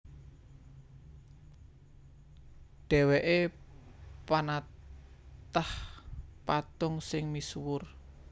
Dhèwèké panatah patung sing misuwur